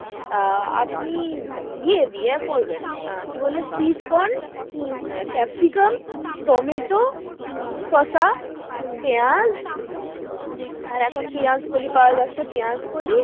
আহ আপনি ইয়ে দিয়ে করবেন আহ কি বলে sweet corn হম ক্যাপসিকাম, টম্যাটো, হম শসা, হম পেঁয়াজ, আর এখন পেঁয়াজকলি পাওয়া যাচ্ছে পেঁয়াজকলি,